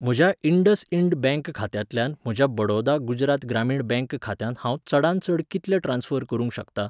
म्हज्या इंडसइंड बँक खात्यांतल्यान म्हज्या बडौदा गुजरात ग्रामीण बँक खात्यांत हांव चडांत चड कितले ट्रान्स्फर करूंक शकता?